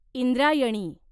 Indrayani